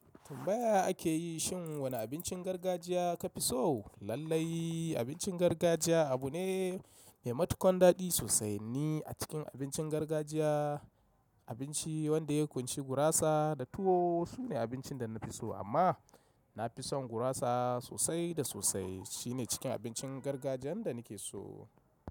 Tambaya ake yi shin wane abincin gargajiya ka fi so? Lallai abincin gargajiya abu ne mai matuƙan daɗi sosai ne. A cikin abincin gargajiya, abinci wanda ya ƙunshi gurasa da tuwo sune abincin da na fi so. Amma na fi son gurasa sosai da sosai. Shi ne cikin abincin gargajiyan da nake so.